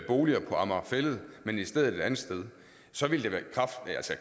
boliger på amager fælled men i stedet et andet sted så ville det